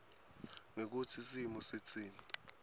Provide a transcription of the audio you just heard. ngekutsi simo sitsini